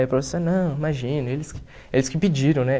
E o professor, não, imagina, eles que eles que pediram, né?